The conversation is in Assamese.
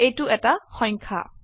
এইটো এটা সংখ্যা